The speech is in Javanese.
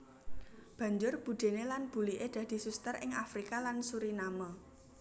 Banjur budéné lan buliké dadi suster ing Afrika lan Suriname